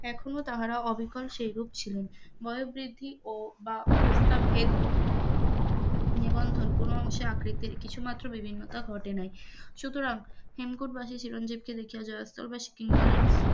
এখনও তাহারা অবিকল সেরূপ ছিলেন, বল বৃদ্ধি বা অবস্থ ভেদ নিবন্ধন কোন অংশে আকৃতির কিছু মাত্র বিভিন্নতা ঘটে নাই সুতরাং হেমকুটবাসী চিরঞ্জীবকে দেখিয়া যারা করেন,